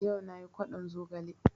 Yau nayi kwaɗon zogale